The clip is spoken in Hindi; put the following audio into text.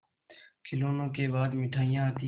खिलौनों के बाद मिठाइयाँ आती हैं